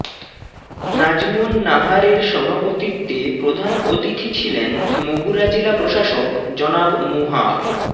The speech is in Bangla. নাজমুন নাহারের সভাপতিত্বে প্রধান অতিথি ছিলেন মাগুরা জেলা প্রশাসক জনাব মুহা